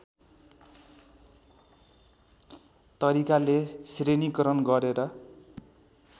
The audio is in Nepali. तरिकाले श्रेणीकरण गरेर